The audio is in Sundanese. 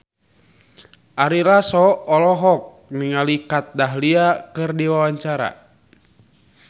Ari Lasso olohok ningali Kat Dahlia keur diwawancara